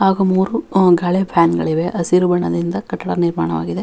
ಹಾಗು ಮೂರು ಗಾಳಿ ಫ್ಯಾನ್ಗಳಿವೆ ಹಸಿರು ಬಣ್ಣದಿಂದ ಕಟ್ಟಡ ನಿರ್ಮಾಣವಾಗಿದೆ.